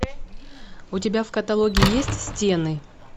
у тебя в каталоге есть стены